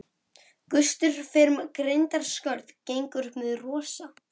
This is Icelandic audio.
Gustur fer um grindaskörð gengur upp með rosa.